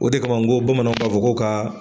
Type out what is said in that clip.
O de kama n ko bamananw b'a fɔ n ko ka